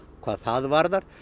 hvað það varðar